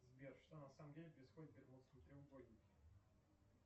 сбер что на самом деле происходит в бермудском треугольнике